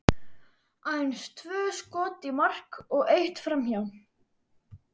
Aðeins tvö skot í mark og eitt framhjá.